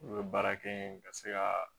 U bɛ baara kɛ yen ka se ka